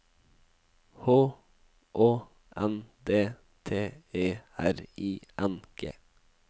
H Å N D T E R I N G